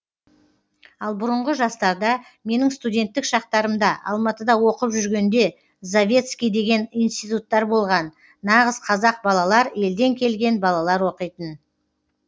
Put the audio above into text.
ал бұрыңғы жастарда менің студенттік шақтарымда алматыда оқып жүргенде завецкий деген институттар болған нағыз қазақ балалар елден келген балалар оқитын